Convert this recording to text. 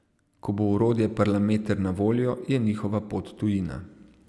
Ko bo orodje Parlameter na voljo, je njihova pot tujina.